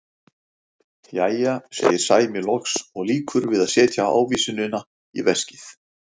Jæja, segir Sæmi loks og lýkur við að setja ávísunina í veskið.